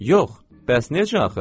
Yox, bəs necə axı?